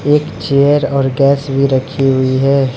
एक चेयर और गैस भी रखी हुई है।